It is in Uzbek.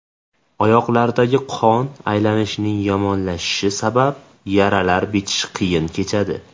Oyoqlardagi qon aylanishining yomonlashishi sabab yaralar bitishi qiyin kechadi.